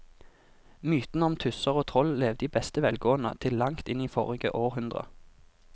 Mytene om tusser og troll levde i beste velgående til langt inn i forrige århundre.